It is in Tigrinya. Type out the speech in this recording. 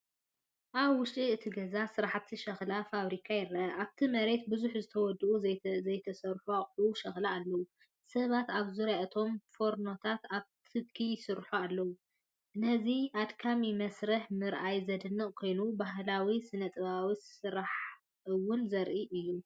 ኣብ ውሽጢ እቲ ገዛ ስራሕቲ ሸኽላ/ፋብሪካ ይርአ። ኣብቲ መሬት ብዙሓት ዝተወድኡን ዘይተሰርሑን ኣቑሑት ሸኽላ ኣለዉ። ሰባት ኣብ ዙርያ እቶም ፎርኖታት ኣብ ትኪ ይሰርሑ ኣለዉ። ነዚ ኣድካሚ መስርሕ ምርኣይ ዝድነቕ ኮይኑ፡ ባህላዊ ስነ-ጥበባዊ ስርሓት እውን ዘርኢ እዩ።